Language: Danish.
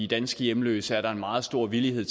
danske hjemløse er der en meget stor villighed